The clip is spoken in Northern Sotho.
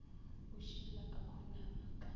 a šila o khunama ka